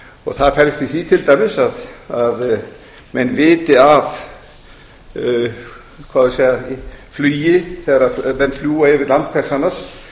og það felst í því til dæmis að menn viti af flugi þegar menn fljúga yfir land hvers annars